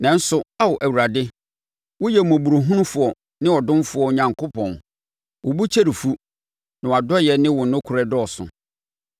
Nanso wo, Ao Awurade, woyɛ mmɔborɔhunufoɔ ne ɔdomfoɔ Onyankopɔn, wo bo kyɛre fu, na wʼadɔeɛ ne wo nokorɛ dɔɔso.